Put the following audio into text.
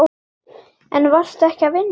En varstu ekki að vinna?